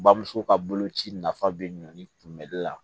Bamuso ka boloci nafa be ɲun kunbɛli la